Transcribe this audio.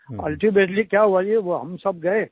ultimately क्या हुआ जी हम सब गए